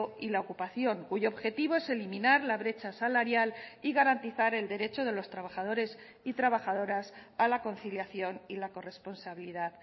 y la ocupación cuyo objetivo es eliminar la brecha salarial y garantizar el derecho de los trabajadores y trabajadoras a la conciliación y la corresponsabilidad